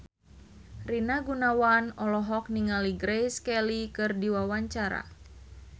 Rina Gunawan olohok ningali Grace Kelly keur diwawancara